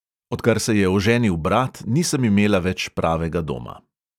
Odkar se je oženil brat, nisem imela več pravega doma.